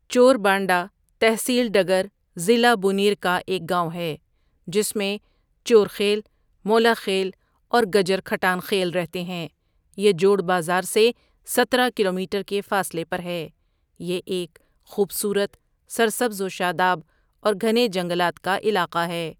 چوربانڈہ تحصیل ڈگر ضلع بونیر کاایک گاؤں ہے جس میں چورخیل مولاخیل اورگجر کھٹان خیل رہتےھیں یہ جوڑبازارسے سترہ کلومیٹڑ کےفاصلے پرہے یہ ایک خوبصورت، سرسبزوشاداب اور گھنے جنگلات کاعلاقہ ہے.